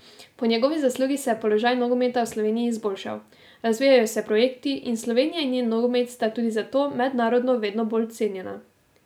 Po njegovi zaslugi se je položaj nogometa v Sloveniji izboljšal, razvijajo se projekti in Slovenija in njen nogomet sta tudi zato mednarodno vedno bolj cenjena.